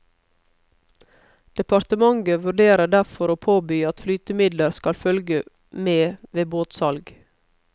Departementet vurderer derfor å påby at flytemidler skal følge med ved båtsalg.